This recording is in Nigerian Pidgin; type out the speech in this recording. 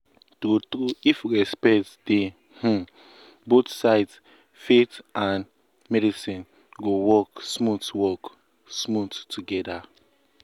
true true if respect dey um both sides faith and um medicine go work um smooth work um smooth together.